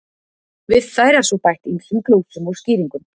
Við þær er svo bætt ýmsum glósum og skýringum.